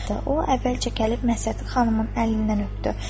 O əvvəlcə gəlib Məhsəti xanımın əlindən öpdü.